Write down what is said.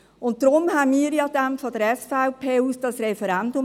Deshalb ergriffen wir von der SVP ja dann das Referendum.